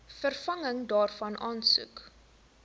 vervanging daarvan aansoek